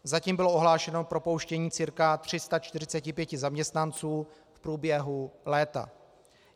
Zatím bylo ohlášeno propouštění cca 345 zaměstnanců v průběhu léta.